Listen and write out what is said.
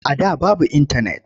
A da babu intanet.